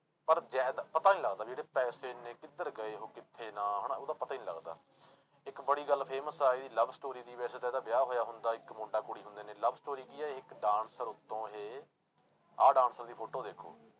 ਪਰ ਪਤਾ ਨੀ ਲੱਗਦਾ ਵੀ ਇਹਦੇ ਪੈਸੇ ਇੰਨੇ ਕਿੱਧਰ ਗਏ ਉਹ ਕਿੱਥੇ ਨਾ ਹਨਾ ਉਹਦਾ ਪਤਾ ਹੀ ਨੀ ਲੱਗਦਾ, ਇੱਕ ਬੜੀ ਗੱਲ famous ਆ ਇਹਦੀ love story ਸੀ ਵੈਸੇ ਤਾਂ ਇਹਦਾ ਵਿਆਹ ਹੋਇਆ ਹੁੰਦਾ ਇੱਕ ਮੁੰਡਾ ਕੁੜੀ ਹੁੰਦੇ ਨੇ love story ਕੀ ਹੈ ਇੱਕ dancer ਤੋਂ ਇਹ ਆਹ dancer ਦੀ photo ਦੇਖੋ